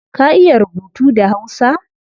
Ka iya rubutu da hausa?